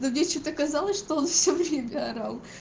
но мне что-то казалось что он все время орал